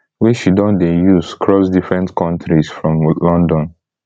wey she don dey use cross different kontris from london